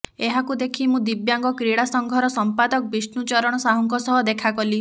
ଏହାକୁ ଦେଖି ମୁଁ ଦିବ୍ୟାଙ୍ଗ କ୍ରୀଡ଼ା ସଂଘର ସମ୍ପାଦକ ବିଷ୍ଣୁ ଚରଣ ସାହୁଙ୍କ ସହ ଦେଖାକଲି